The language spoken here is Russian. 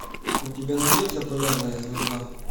у тебя найдется полярная звезда